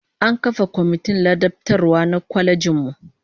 An kafa komitin ladabtarwa na kwalejin mu